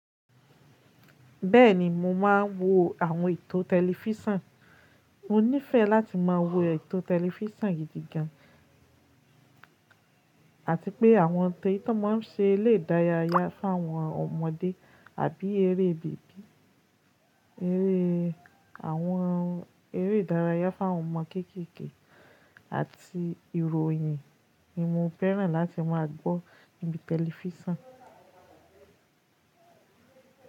Bẹ́ẹ̀ni mo máa ń wo àwọn ètò tẹlifísọ̀n. Mo nífẹ̀ẹ́ láti máa wo ètò tẹlifísọ̀n gidi gan, àti pé àwọn téè tó máa ń ṣe lédayáyá fún àwọn ọmọdé àbí eré bèbí, eré, àwọn eré ìdárayá fún àwọn ọmọ kékékè àti ìròyìn ni mo fẹ́ràn láti máa gbọ́ níbi tẹlifísọ̀n.